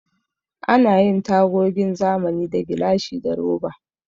Ana yin tagogin zamani da gilashi da roba.